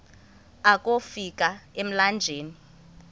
akofi ka emlanjeni